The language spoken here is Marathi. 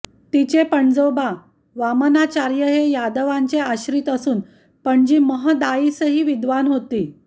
तिचे पणजोबा वामनाचार्य हे यादवराजांचे आश्रित असून पणजी महदाइसाही विद्वान होती